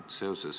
Tänan!